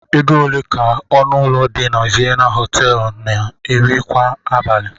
Ego ole ka ọnụ ụlọ dị na Vienna hill Họteelụ na-eri kwa abalị?